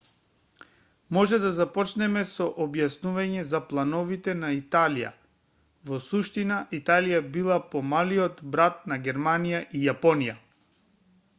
може да започнеме со објаснување за плановите на италија во суштина италија била помалиот брат на германија и јапонија